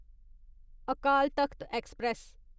Akal Takht express